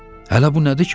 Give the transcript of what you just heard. Hələ bu nədir ki, baba?